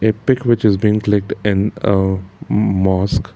a pic which is been clicked and uh mask.